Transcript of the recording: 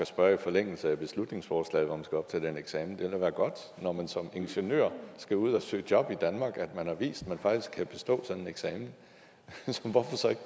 spørge i forlængelse af beslutningsforslaget om man skal op til den eksamen det ville da være godt når man som ingeniør skal ud at søge job i danmark at man har vist at man faktisk kan bestå sådan en eksamen så hvorfor ikke